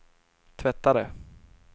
tvättare